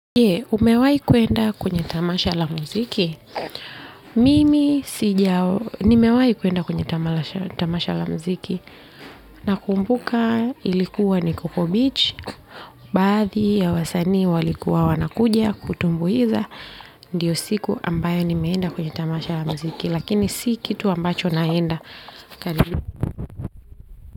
Je, umewahi kwenda kwenye tamasha la muziki? Mimi sijawahi, nimewahi kwenda kwenye tamasha la muziki nakumbuka ilikuwa ni Coco Beach baadhi ya wasanii walikuwa wanakuja kutumbuiza ndiyo siku ambayo nimeenda kwenye tamasha la muziki lakini si kitu ambacho naenda.